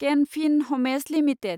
kennel Fin Homes limited